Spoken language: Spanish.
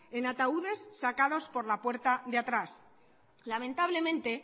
en ataúdes sacados por la puerta de atrás lamentablemente